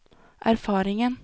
erfaringen